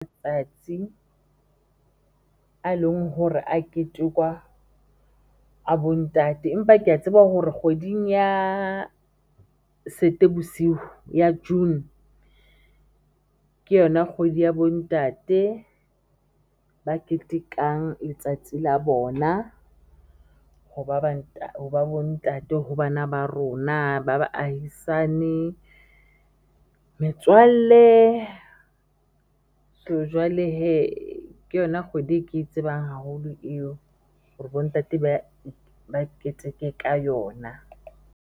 Tsatsi a leng hore a ketekwa a bo ntate, empa kea tseba hore kgweding ya bosiu ya June ke yona kgwedi ya bo ntate ba ketekang letsatsi la bona, ho ba bo ntate ho bana ba rona ba baahisane, metswalle so jwale hee ke yona kgwedi e ke e tsebang haholo eo hore bo ntate ba keteke ka yona.